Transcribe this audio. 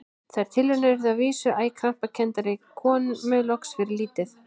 Þær tilraunir urðu að vísu æ krampakenndari og komu loks fyrir lítið.